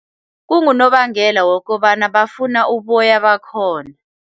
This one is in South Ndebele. Kungonobangela wokobana bafuna uboya bakhona.